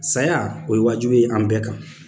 Saya o ye wajulu ye an bɛɛ kan.